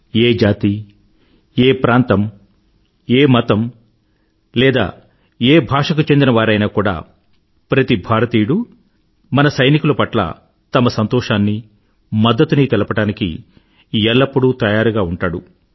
ఏ జాతి ఏ ప్రాంతం ఏ మతం లేదా ఏ భాషకు చెందిన వారైనా కూడా ప్రతి భారతీయుడూ మన సైనికుల పట్ల తమ సంతోషాన్నీ మద్దతునీ తెలపడానికి ఎల్లప్పుడూ తయారుగా ఉంటాడు